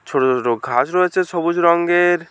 ছোট ছোট ঘাস রয়েছে সবুজ রঙের।